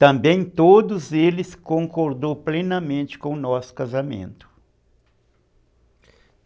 Também todos eles concordaram plenamente com o nosso casamento.